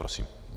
Prosím.